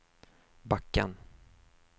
backen